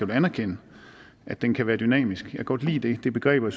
vil anerkende at den kan være dynamisk jeg kan godt lide det det begreb og